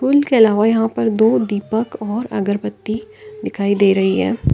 फूल के अलावा यहां पर दो दीपक और अगरबत्ती दिखाई दे रही है।